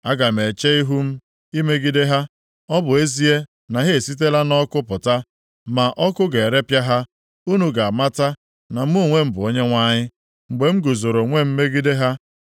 Aga m eche ihu m + 15:7 Maọbụ, Aga m eguzo onwe m imegide ha. Ọ bụ ezie na ha esitela nʼọkụ pụta, ma ọkụ ga-erepịa ha. Unu ga-amata na mụ onwe m bụ Onyenwe anyị, mgbe m guzoro onwe m megide ha.